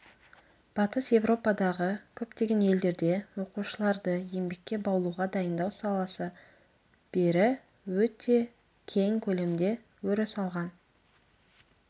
батыс еуропадағы көптеген елдерде оқушыларды еңбекке баулуға дайындау саласы бері өте кең көлемде өріс алған